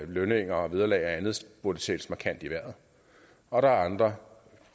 lønninger og vederlag og andet burde sættes markant i vejret og der er andre